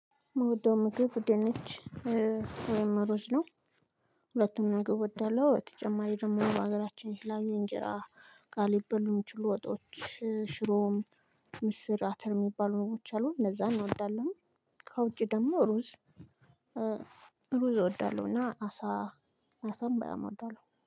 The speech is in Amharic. ምውደው ምግብ ድንች ወይም እሩዝ ነው። ሁለቱም ምግብ እወዳለሁ በተጨማሪ ደግሞ በሀገራችን የተለያዩ እንጀራ ጋር ሊበሉ ሚችሉ ወጦች ሽሮም ምስር አተር የሚባሉ ምግቦች አሉ እነዛን እወዳለሁኝ። ከውጪ ደግሞ ሩዝ ሩዝ እወዳለሁና አሳ አሳም በጣም አወዳለሁ